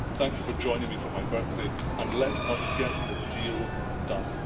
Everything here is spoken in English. Thank you for joining me for my birthday, and let us get the deal done.